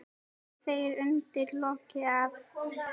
Hann segir undir lokin að